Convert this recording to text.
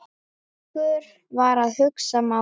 Eiríkur var að hugsa málið.